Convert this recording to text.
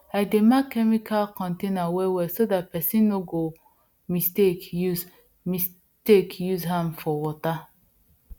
i dey mark chemical container well well so dat person no go mistake use mistake use am for water